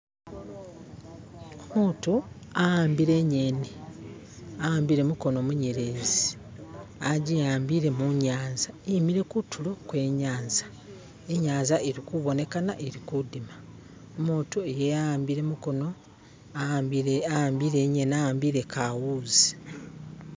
Umutu ahambile inyeni ahambile mukono munyelezi ajihambile munyanza imile kutulo kwenyanza inyanza ilikubonekana ili kudima umutu iyeye ahambile mukono ahambile inyeni ahambile kawuzi